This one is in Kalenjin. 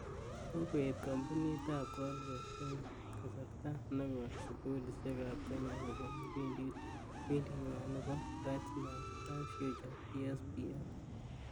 Kokoet kampunit ap colgate ing kasarta nekoi sugulishek ap kenya kopun kipindit nywaa nebo Bright Smiles, Bright Futures(BSBF)